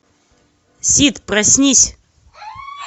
сид проснись